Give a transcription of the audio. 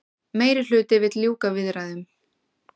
Meirihluti vill ljúka viðræðum